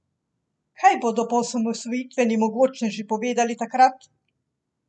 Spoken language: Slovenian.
Kaj bodo poosamosvojitveni mogočneži povedali takrat?